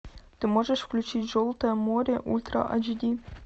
ты можешь включить желтое море ультра ач ди